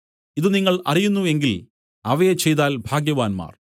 ഇതു നിങ്ങൾ അറിയുന്നു എങ്കിൽ അവയെ ചെയ്താൽ ഭാഗ്യവാന്മാർ